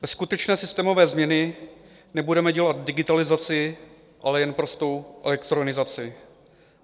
Bez skutečné systémové změny nebudeme dělat digitalizaci, ale jen prostou elektronizaci.